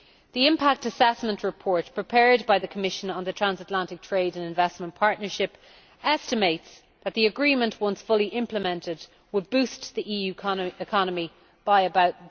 The Impact Assessment Report prepared by the Commission on the Transatlantic Trade and Investment Partnership estimates that the agreement, once fully implemented, would boost the EU economy by about